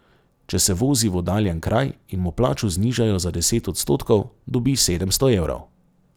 Če se vozi v oddaljen kraj in mu plačo znižajo za deset odstotkov, dobi sedemsto evrov.